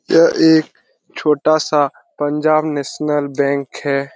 यह एक छोटा सा पंजाब नेशनल बैंक है।